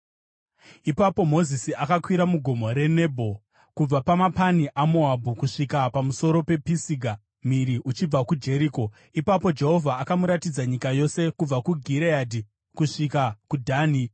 Ipapo Mozisi akakwira mugomo reNebho kubva pamapani aMoabhu kusvika pamusoro pePisiga, mhiri uchibva kuJeriko. Ipapo Jehovha akamuratidza nyika yose, kubva kuGireadhi kusvika kuDhani.